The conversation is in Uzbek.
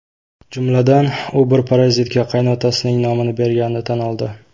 Jumladan, u bir parazitga qaynotasining nomini berganini tan oldi.